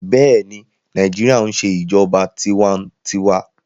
Bẹẹni, Naijiria n ṣe ijọba tiwantiwa